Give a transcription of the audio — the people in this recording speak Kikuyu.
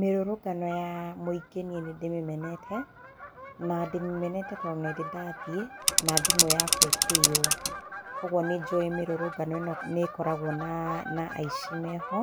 Mĩrũrũngano ya mũingĩ niĩ nĩndĩmĩmenete, na ndĩmĩmenete tondũ nĩndĩ ndathiĩ na thimũ yakwa ĩkĩiywo. Kũoguo nĩ njũĩ mĩrũrũngano ino nĩ ĩkoragwo na aici meho.